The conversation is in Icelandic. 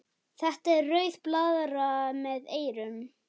Þetta er rauð blaðra með eyrum.